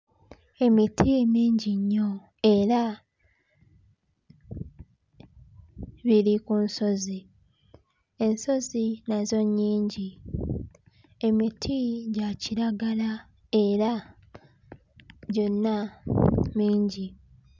Emiti mingi nnyo era biri ku nsozi. Ensozi nazo nyingi, emiti gya kiragala era gyonna mingi.